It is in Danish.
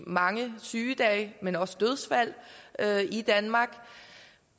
mange sygedage men også dødsfald i danmark